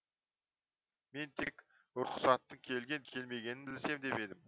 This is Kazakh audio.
мен тек ұрықсаттың келген келмегенін білсем деп едім